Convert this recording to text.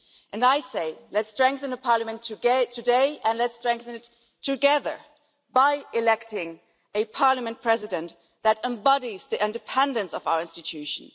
And I say let's strengthen the Parliament today and let's strengthen it together by electing a Parliament President that embodies the independence of our institution.